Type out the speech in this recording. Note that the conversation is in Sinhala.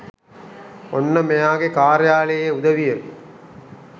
ඔන්න මෙයාගෙ කාර්යාලයේ උදවිය